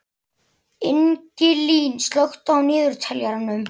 Ingilín, slökktu á niðurteljaranum.